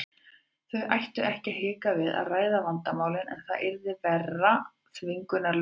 Þau ættu ekki að hika við að ræða vandamálin en það yrði að vera þvingunarlaust.